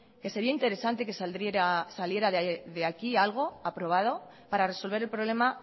que sería interesante que saliera de aquí algo aprobado para resolver el problema